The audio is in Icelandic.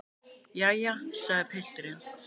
Jæja, sagði pilturinn.